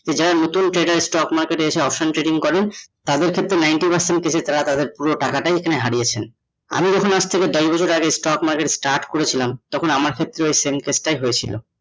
তো যারা নতুন trader stock market এ এসে option trading করেন তাদের ক্ষেত্রে ninety percent case এ তারা তাদের পুরো টাকাটাই এখানে হারিয়েছেন । আমি যখন দশ বছর আগে stock market start করেছিলাম তখন আমার ক্ষেত্রেও same case টাই হয়েছিল ।